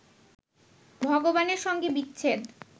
ভগবানের সঙ্গে বিচ্ছেদ